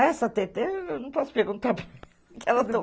Essa, eu não posso perguntar que ela